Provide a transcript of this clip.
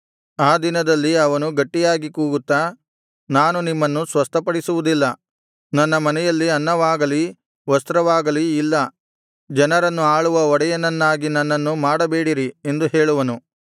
ಆ ದಿನದಲ್ಲಿ ಅವನು ಗಟ್ಟಿಯಾಗಿ ಕೂಗುತ್ತಾ ನಾನು ನಿಮ್ಮನ್ನು ಸ್ವಸ್ಥಪಡಿಸುವುದಿಲ್ಲ ನನ್ನ ಮನೆಯಲ್ಲಿ ಅನ್ನವಾಗಲೀ ವಸ್ತ್ರವಾಗಲೀ ಇಲ್ಲ ಜನರನ್ನು ಆಳುವ ಒಡೆಯನನ್ನಾಗಿ ನನ್ನನ್ನು ಮಾಡಬೇಡಿರಿ ಎಂದು ಹೇಳುವನು